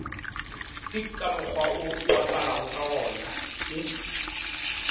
ke ka mokgwawo oaparagokagona ke